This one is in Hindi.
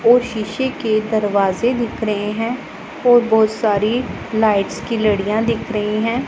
और शीशे के दरवाजे दिख रहे हैं और बहोत सारी लाइट्स की लड़ियां दिख रही हैं।